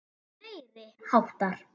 Meiri háttar.